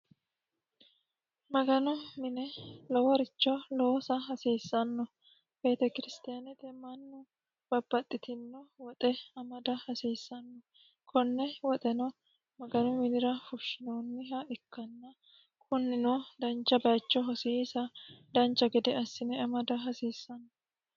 maganu mine loworicho loosa hasiissanno beetekiristaanete mannu babbaxxitino woxe amada hasiissanno konne woxeno maganu minira fushshinoonniha ikkanna kunnino dancha bacho hosiisa dancha gede assine amada hasiissanno